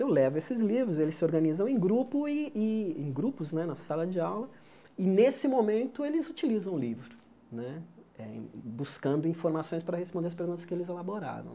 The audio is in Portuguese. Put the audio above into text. Eu levo esses livros, eles se organizam em grupo e e em grupos né na sala de aula e, nesse momento, eles utilizam o livro né, eh buscando informações para responder as perguntas que eles elaboraram.